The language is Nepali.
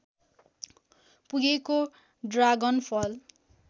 पुगेको ड्रागनफल